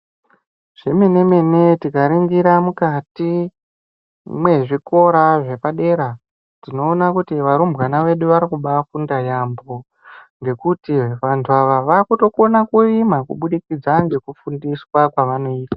Zvemenemene tikaringira mukati mwezvikora zvepadera tinoona kuti varumbwana vedu vari kubaafunda yaambo ngekuti vanthu ava vaakutokona kurima kubudikidza ngekufundiswa kwavanoitwa.